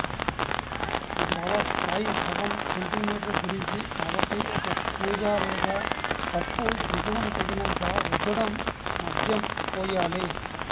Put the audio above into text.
ద్రవ స్థాయి సగం సెంటీమీటర్ గురించి కాబట్టి ఒక కూజా లేదా కప్పు దిగువన తగినంత రుద్దడం మద్యం పోయాలి